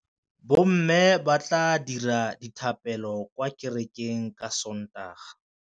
Bommê ba tla dira dithapêlô kwa kerekeng ka Sontaga.